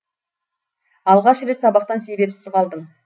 алғаш рет сабақтан себепсіз қалдым